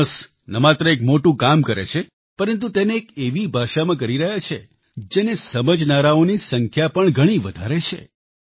Jonas ન માત્ર એક મોટું કામ કરે છે પરંતુ તેને એક એવી ભાષામાં કરી રહ્યા છે જેને સમજનારાઓની સંખ્યા પણ ઘણી વધારે છે